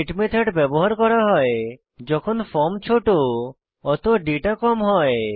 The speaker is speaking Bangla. গেট মেথড ব্যবহার করা হয় যখন ফর্ম ছোট অত দাতা কম হয়